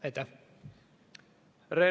Aitäh!